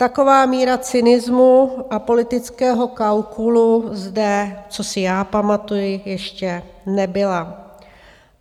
Taková míra cynismu a politického kalkulu zde, co si já pamatuji, ještě nebyla.